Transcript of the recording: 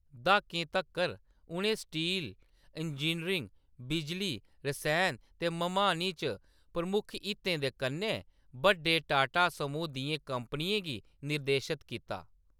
द्हाकें तक्कर, उʼनें steel, engineering, बिजली, रसैन ते मम्हानी च प्रमुख हितें दे कन्नै बड्डे टाटा समूह् दियें कंपनियें गी निर्देशत कीता।